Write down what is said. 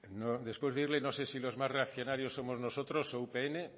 después de oírle no sé si los más reaccionarios somos nosotros o upn